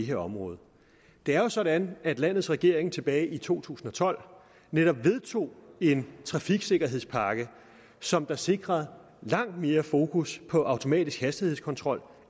her område det er jo sådan at landets regering tilbage i to tusind og tolv netop vedtog en trafiksikkerhedspakke som sikrer langt mere fokus på automatisk hastighedskontrol